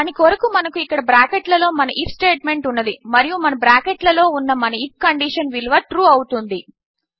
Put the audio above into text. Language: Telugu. దాని కొరకు మనకు ఇక్కడ బ్రాకెట్ లలో మన ఐఎఫ్ స్టేట్మెంట్ ఉన్నది మరియు మన బ్రాకెట్ లలో ఉన్న మన ఐఎఫ్ కండీషన్ విలువ ట్రూ అవుతుంది